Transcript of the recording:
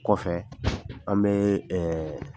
Kɔfɛ an bɛ